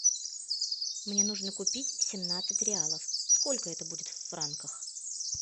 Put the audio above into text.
мне нужно купить семнадцать реалов сколько это будет в франках